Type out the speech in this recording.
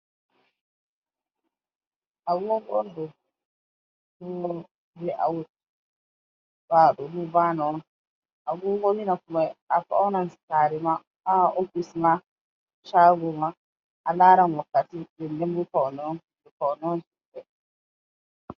Agogo on ɗo. Agogo ni nafumai afaunan sarema ah ofis ma. Shagoma alaran wakkati. Ɗenɗen bo faune on.